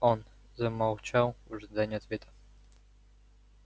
он замолчал в ожидании ответа